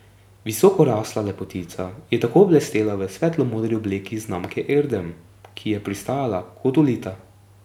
Visokorasla lepotica je tako blestela v svetlomodri obleki znamke Erdem, ki ji je pristajala kot ulita.